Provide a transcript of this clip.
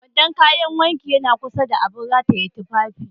Kwandon kayan wanki yana kusa da abin rataye tufafi